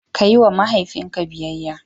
Kayi wa mahaifinka biyayyya.